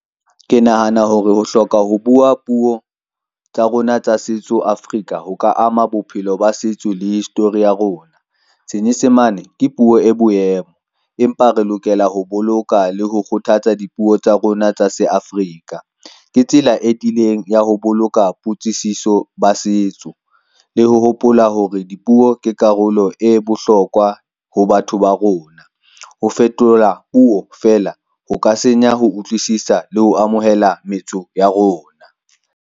Ke nahana hore ho hloka ho bua puo tsa rona tsa setso Africa ho ka ama bophelo ba setso le history ya rona. Senyesemane ke puo e boemo, empa re lokela ho boloka le ho kgothatsa dipuo tsa rona tsa se Africa. Ke tsela e tileng ya ho boloka potsiso ba setso, le ho hopola hore dipuo ke karolo e bohlokwa ho batho ba rona. Ho fetola puo fela ho ka senya, ho utlwisisa le ho amohela metso ya rona.